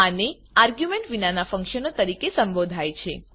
આને આર્ગ્યુંમેંટ વિનાનાં ફંક્શનો તરીકે સંબોધાય છે